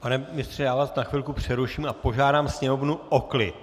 Pane ministře, já vás na chvilku přeruším a požádám Sněmovnu o klid.